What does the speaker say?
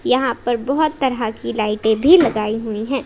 यहां पर बहोत तरह की लाइटें भी लगाई हुई है।